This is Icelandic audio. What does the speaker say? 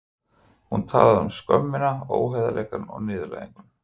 Hún talaði um skömmina, óheiðarleikann og niðurlæginguna.